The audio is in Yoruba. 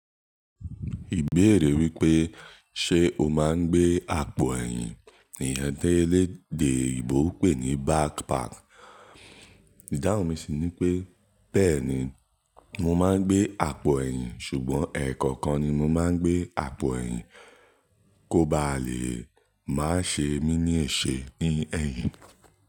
Ìbéèrè wípé ṣe o máa ń gbé àpò ẹ̀yìn, iyẹn tí elédè oyinbò pè ní backpack. Idánwò mi sì ni pé, bẹ́ẹ̀ni mo máa ń gbé àpò ẹ̀yìn, ṣùgbọ́n ẹ̀ẹ̀kọkan ni mo máa ń gbé àpò ẹ̀yìn, kó ba lè máa ṣe mí ní èse ní ẹ̀yìn.